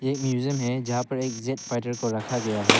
एक म्यूजियम है जहां पर एक ज़ेट फाइटर को रखा गया है।